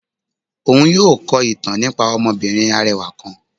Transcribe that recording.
Òún yóò kọ ìtàn nípá ọmọbìnrín arẹwà kán.